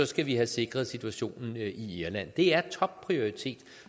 skal have sikret situationen i irland det er altså en topprioritet